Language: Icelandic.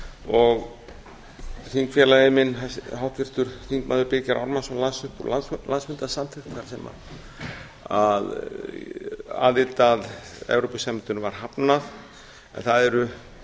og þingfélagi minn háttvirtur þingmaður birgir ármannsson las upp úr landsfundarsamþykkt þar sem aðild að evrópusambandinu var hafnað en það eru